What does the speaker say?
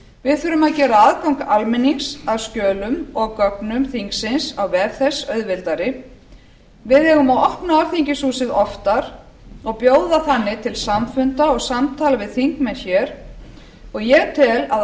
við þurfum að gera aðgang almennings að skjölum og gögnum þingsins á vef þess auðveldari við eigum að opna alþingishúsið oftar og bjóða þannig til samfunda og samtala við þingmenn hér og ég tel að